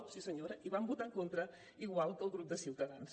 sí senyora hi van votar en contra igual que el grup de ciutadans